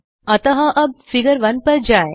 अतः हम फिगर 1 के लिए स्विच करते हैं